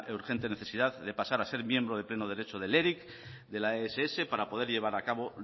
urgente necesidad de pasar a ser miembro de pleno derecho de la eric de la ess para poder llevar a cabo